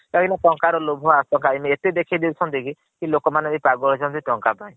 କାରଣ ତନକା ତ ଲୋଭ ଆକକାଲିନ ଏତେ ଦେଖେଇ ଦେଇ ଛହାନ୍ତି କି ଲୋକ ମାନେ ବି ପାଗଳ ହେଇ ଯାଉଛନ୍ତି ଟକାନ୍ ପାଇଁ।